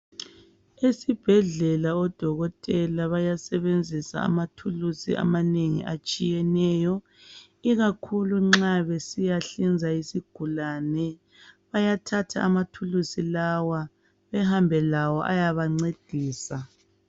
Esibhedlela odokotela bayasebenzisa amathulusi amanengi atshiyeneyo ikakhulu nxa besiyahlinza isigulani bayathatha amathulusi lawa baye ngcedisa